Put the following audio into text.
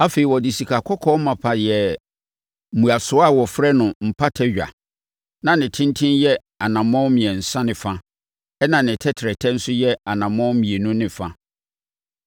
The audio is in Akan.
Afei, ɔde sikakɔkɔɔ mapa yɛɛ ne mmuasoɔ a wɔfrɛ no Mpata Dwa. Na ne ntentenemu yɛ anammɔn mmiɛnsa ne fa, ɛnna ne tɛtrɛtɛ nso yɛ anammɔn mmienu ne fa.